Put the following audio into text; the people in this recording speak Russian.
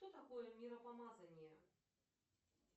что такое миропомазание